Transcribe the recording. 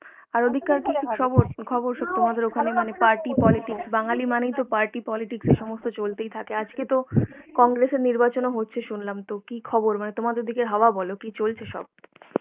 আর ওদিককার কি সবর খবর সব তোমাদের ওখানে party politics, বাঙালি মানেই তো party politics এসমস্ত চলতেই থাকে আজকে তো congress এর নির্বাচন ও হচ্ছে সুনলাম তো কি খবর তোমাদের ওদিকের হওয়া বলো কি চলছে সব